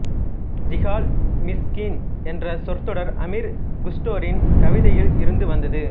ஜீஹால்இமிஸ்கீன் என்ற சொற்றொடர் அமீர் குஸ்டோரின் கவிதையில் இருந்து வந்தது